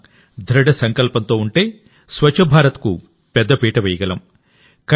మనం దృఢ సంకల్పంతో ఉంటే స్వచ్ఛ భారత్కు పెద్దపీట వేయగలం